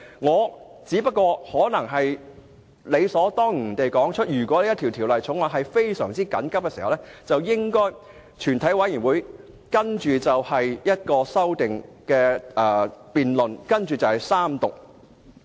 我只想指出，如果本會要緊急處理某項法案，便應由全體委員會就修正案進行辯論和予以三讀。